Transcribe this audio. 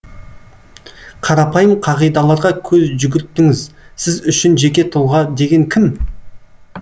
қарапайым қағидаларға көз жүгіртіңіз сіз үшін жеке тұлға деген кім